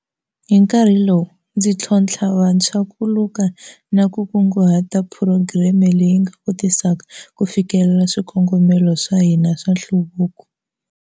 Hi nkarhi lowu, ndzi tlho-ntlha vantshwa ku luka na ku kunguhata phurogireme leyi nga kotisaka ku fikelela swikongomelo swa hina swa nhluvuko.